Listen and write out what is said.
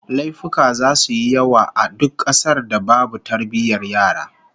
Laifuka zasu yi yawa a duk kasar da babu tarbiyyar yara